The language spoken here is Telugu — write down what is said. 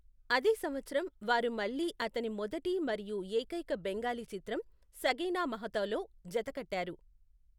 అదే సంవత్సరం, వారు మళ్ళీ అతని మొదటి మరియు ఏకైక బెంగాలీ చిత్రం సగీనా మహతోలో జతకట్టారు.